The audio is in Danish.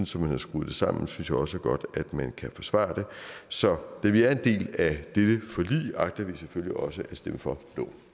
som man har skruet det sammen synes jeg også godt man kan forsvare det så da vi er en del af dette forlig agter vi selvfølgelig også at stemme for